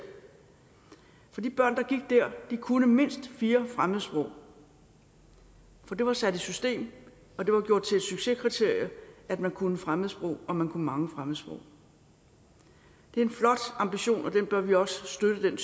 for de børn der gik der kunne mindst fire fremmedsprog for det var sat i system og det var gjort til et succeskriterie at man kunne fremmedsprog og at man kunne mange fremmedsprog det er en flot ambition og den bør vi også støtte